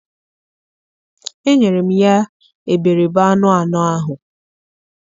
enyere m ya iberibe anụ anọ ahụ.